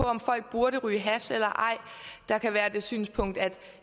om folk burde ryge hash eller ej der kan være det synspunkt at